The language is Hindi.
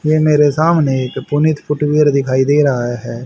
ये मेरे सामने पुनीत फुटवियर दिखाई दे रहा है।